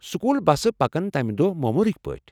School بسہٕ پکن تمہِ دوہ موموٗلٕكۍ پٲٹھۍ ۔